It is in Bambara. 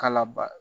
Ka laba